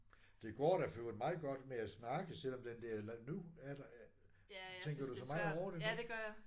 Det går da for øvrigt meget godt med at snakke selvom den der nu er der. Tænker du så meget over det nu?